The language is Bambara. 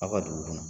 Aw ka dugu kɔnɔ